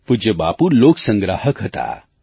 પૂજ્ય બાપુ લોક સંગ્રાહક હતા